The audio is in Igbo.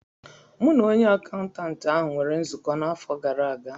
M na onye akaụntantị ahụ nwere nzukọ n'afọ gara aga